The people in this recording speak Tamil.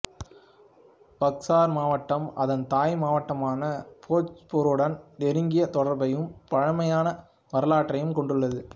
பக்சர் மாவட்டம் அதன் தாய் மாவட்டமான போச்பூருடன் நெருங்கிய தொடர்பையும் பழமையான வரலாற்றையும் கொண்டுள்ளது